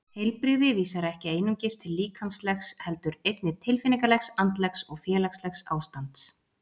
Heilbrigði vísar ekki einungis til líkamlegs heldur einnig tilfinningalegs, andlegs og félagslegs ástands.